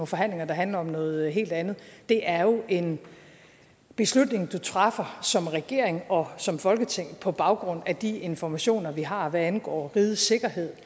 forhandlinger der handler om noget helt andet det er jo en beslutning man træffer som regering og som folketing på baggrund af de informationer vi har hvad angår rigets sikkerhed